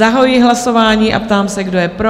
Zahajuji hlasování a ptám se, kdo je pro?